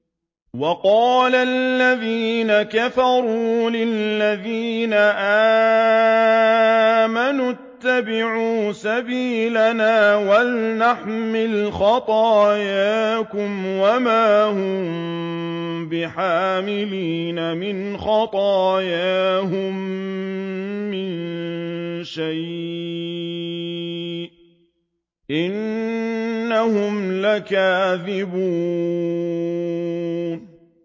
وَقَالَ الَّذِينَ كَفَرُوا لِلَّذِينَ آمَنُوا اتَّبِعُوا سَبِيلَنَا وَلْنَحْمِلْ خَطَايَاكُمْ وَمَا هُم بِحَامِلِينَ مِنْ خَطَايَاهُم مِّن شَيْءٍ ۖ إِنَّهُمْ لَكَاذِبُونَ